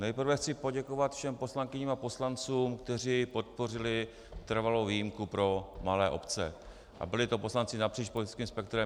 Nejprve chci poděkovat všem poslankyním a poslancům, kteří podpořili trvalou výjimku pro malé obce, a byli to poslanci napříč politickým spektrem.